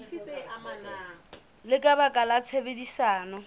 le ka baka la tshebedisano